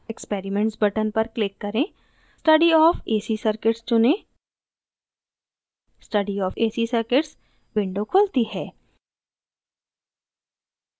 experiments button पर click करें study of ac circuits चुनें study of ac circuits window खुलती है